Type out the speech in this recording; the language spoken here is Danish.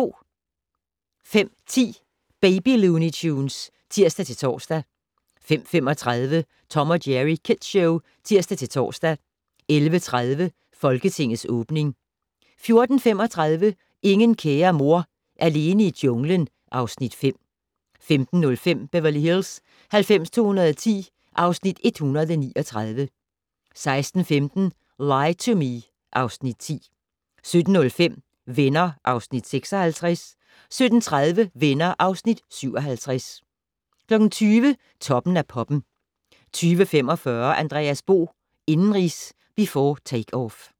05:10: Baby Looney Tunes (tir-tor) 05:35: Tom & Jerry Kids Show (tir-tor) 11:30: Folketingets åbning 14:35: Ingen kære mor - alene i junglen (Afs. 5) 15:05: Beverly Hills 90210 (Afs. 139) 16:15: Lie to Me (Afs. 10) 17:05: Venner (Afs. 56) 17:30: Venner (Afs. 57) 20:00: Toppen af poppen 20:45: Andreas Bo - indenrigs, before takeoff